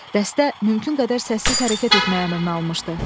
Dəstə mümkün qədər səssiz hərəkət etməyə əmrini almışdı.